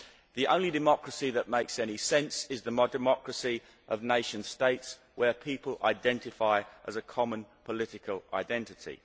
The only democracy that makes any sense is the democracy of nation states, where people identify with a common political identity.